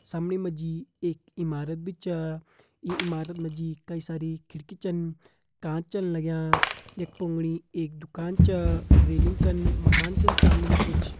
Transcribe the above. सामने मा जी एक इमारत भी छ ये इमारत मा जी कई सारी खिड़की छन कांच छन लग्यां एक पूगणी एक दुकान छ रेलिंग छ मकान छन सामणी मा कुछ।